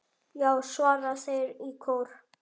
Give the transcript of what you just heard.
Já! svara þeir í kór.